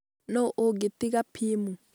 nũ ũngĩ tiga Pim?